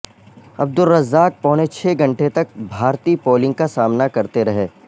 عبدالرزاق پونے چھ گھنٹے تک بھارتی بولنگ کا سامنا کرتے رہے